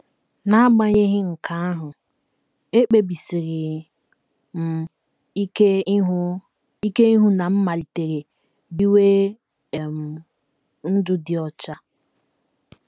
N’agbanyeghị nke ahụ, ekpebisiri m ike ịhụ ike ịhụ na m malitere biwe um ndụ dị ọcha.